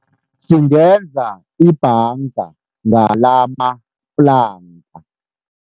Singenza ibhanga ngalamaplanka.